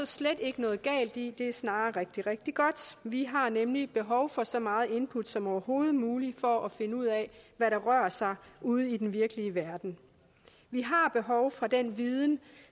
slet ikke noget galt i det er snarere rigtig rigtig godt vi har nemlig behov for så mange input som overhovedet muligt for at finde ud af hvad der rører sig ude i den virkelige verden vi har behov for den viden